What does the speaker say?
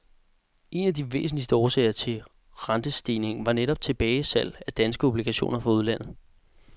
En af de væsentligste årsager til rentestigningen var netop tilbagesalg af danske obligationer fra udlandet.